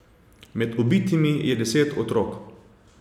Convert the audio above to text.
Med ubitimi je deset otrok.